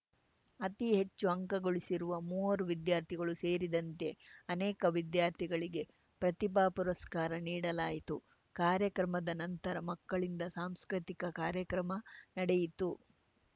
ಅತಿ ಹೆಚ್ಚು ಅಂಕ ಗಳಿಸಿರುವ ಮೂವರು ವಿದ್ಯಾರ್ಥಿಗಳು ಸೇರಿದಂತೆ ಅನೇಕ ವಿದ್ಯಾರ್ಥಿಗಳಿಗೆ ಪ್ರತಿಭಾ ಪುರಸ್ಕಾರ ನೀಡಲಾಯಿತು ಕಾರ್ಯಕ್ರಮದ ನಂತರ ಮಕ್ಕಳಿಂದ ಸಾಂಸ್ಕೃತಿಕ ಕಾರ್ಯಕ್ರಮ ನಡೆಯಿತು